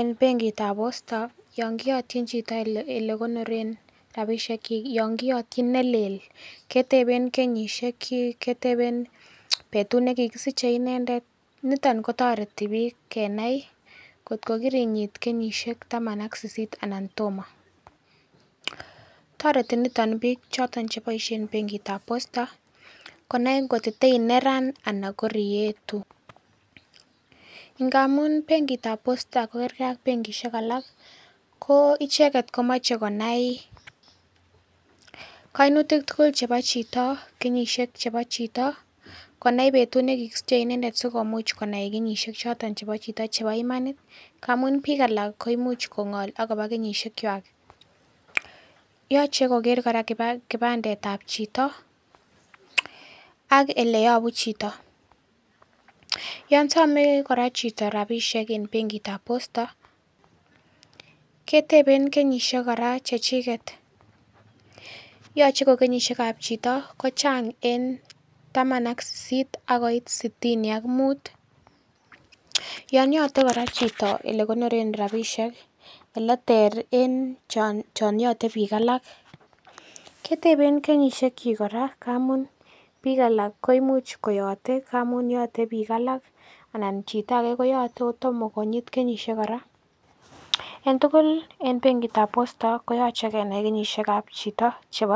en benkit ab Posta yon koyotyin chito elekonoren rapisiek kyik yon kiyotyin nelel keteben kenyisiek kyik keteben inendet niton kotoreti biik kenai kot ko kirinyit kenyisiek taman ak sisisit anan tomo toreti niton biik cheboisie en benkit ab Posta konai kot ko teineran anan korietu ngamun benkit ab Posta kokergee ak benkisiek alak ko icheket komoche konai koinutik tugul chebo chito konai betut nekikisiche inendet sikomuch konai kenyisiek choton chebo chito chebo imanit amun biik alak koimuch kongol akobo kenyisiek kwak. Yoche koker kora kipandet ab chito ak eleyobu chito yon some kora chito rapisiek en benkit ab Posta keteben kenyisiek kora chechiket yoche ko kenyisiek ab chito ko chang en taman ak sisisit akoi sitini ak mut. Yon yote chito kora elekonoren rapisiek eleter en chon yote biik alak keteben kenyisiek kyik kora amun biik alak koimuch koyote amun yote biik alak anan chito age koyote kotomo konyit kenyisiek kora en tugul en benkit ab Posta kooche kenai kenyisiek ab chito chebo